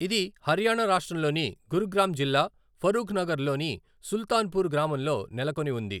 ఇది హర్యానా రాష్ట్రంలోని గురుగ్రామ్ జిల్లా, ఫరూఖ్నగర్లోని సుల్తాన్పూర్ గ్రామంలో నెలకొని ఉంది.